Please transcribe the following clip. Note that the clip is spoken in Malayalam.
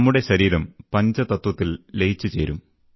നമ്മുടെ ശരീരം പഞ്ചതത്വത്തിൽ ലയിച്ചുചേരും